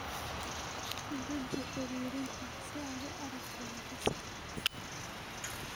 Guji xiriirinta si aad u aragto liisaska.